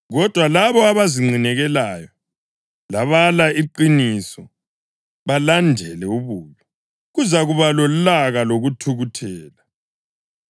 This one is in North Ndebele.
Kodwa labo abazinqinekelayo labala iqiniso balandele ububi, kuzakuba lolaka lokuthukuthela.